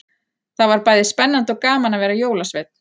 Það var bæði spennandi og gaman að vera jólasveinn.